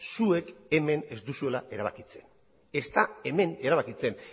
zuek hemen ez duzuela erabakitzen ez da hemen erabakitzen